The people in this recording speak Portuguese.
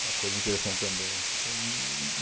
Uma coisa interessante também. Humm